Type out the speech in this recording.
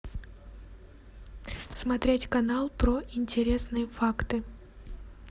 смотреть канал про интересные факты